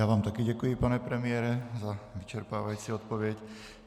Já vám také děkuji, pane premiére, za vyčerpávající odpověď.